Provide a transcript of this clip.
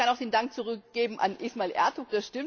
Ich kann auch den Dank zurückgeben an Ismail Ertug.